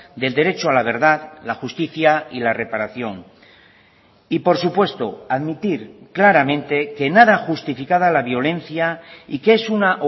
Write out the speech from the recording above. del derecho a la verdad la justicia y la reparación y por supuesto admitir claramente que nada justificada la violencia y que es una